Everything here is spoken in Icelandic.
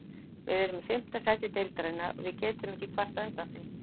Við erum í fimmta sæti deildarinnar og við getum ekki kvartað undan því.